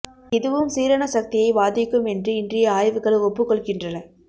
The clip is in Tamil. இதுவும் சீரண சக்தியை பாதிக்கும் என்று இன்றைய ஆய்வுகள் ஒப்புக் கொள்கின்றன